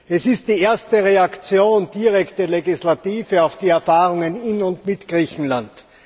Es ist die erste direkte Reaktion der Legislative auf die Erfahrungen in und mit Griechenland.